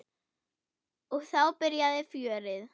Og þá byrjaði fjörið.